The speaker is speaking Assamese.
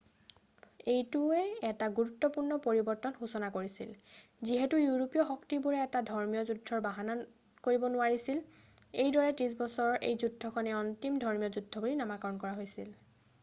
এইটোৱে এটা গুৰুত্বপূৰ্ণ পৰিৱৰ্তনৰ সূচনা কৰিছিল যিহেতু ইউৰোপীয় শক্তিবোৰে এতিয়া ধৰ্মীয় যুদ্ধৰ বাহানা কৰিব নোৱাৰিব এইদৰে ত্ৰিশ বছৰৰ এই যুদ্ধখনেই অন্তিমখন ধৰ্মীয় যুদ্ধ বুলি নামাকৰণ কৰা হৈছিল